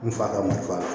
I bi fa